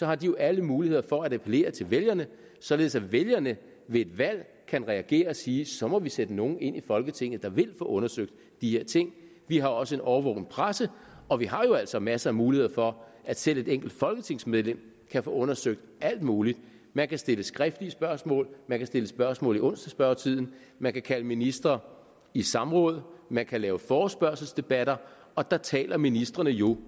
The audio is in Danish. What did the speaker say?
har de jo alle muligheder for at appellere til vælgerne således at vælgerne ved et valg kan reagere og sige så må vi sætte nogen ind i folketinget der vil få undersøgt de her ting vi har også en årvågen presse og vi har jo altså masser af muligheder for at selv et enkelt folketingsmedlem kan få undersøgt alt muligt man kan stille skriftlige spørgsmål man kan stille spørgsmål i onsdagsspørgetiden man kan kalde ministre i samråd man kan lave forespørgselsdebatter og der taler ministrene jo